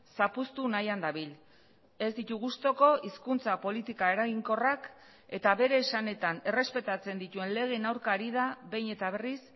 zapuztu nahian dabil ez ditu gustuko hizkuntza politika eraginkorrak eta bere esanetan errespetatzen dituen legeen aurka ari da behin eta berriz